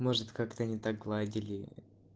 может как-то не так гладили